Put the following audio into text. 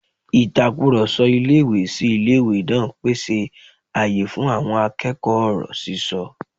Ìtakùrọ̀sọ ilé-ìwé-sí-ilé-ìwé náà pèsè àyè fún àwọn akẹ́kọ̀ọ́ ọ̀rọ̀ sísọ